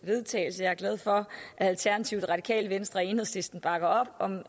vedtagelse jeg er glad for at alternativet radikale venstre og enhedslisten bakker op om